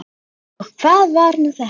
Og hvað var nú þetta!